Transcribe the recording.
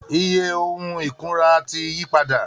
Iye ohun ìkunra ti yí padà